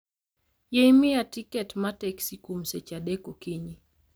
Yie miya tiket ma teksi kuom seche adek okinyi